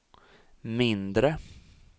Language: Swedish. mindre